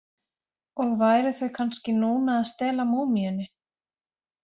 Og væru þau kannski núna að stela múmíunni?